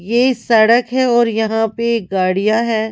यह सड़क है और यहां पे गाड़ियां है।